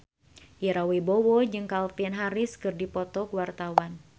Ira Wibowo jeung Calvin Harris keur dipoto ku wartawan